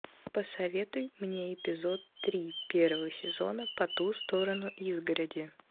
посоветуй мне эпизод три первого сезона по ту сторону изгороди